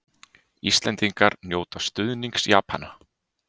Íslendingar njóta stuðnings Japana